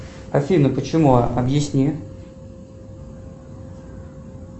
афина почему объясни